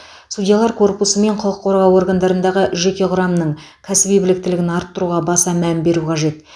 судьялар корпусы мен құқық қорғау органдарындағы жеке құрамның кәсіби біліктілігін арттыруға баса мән беру қажет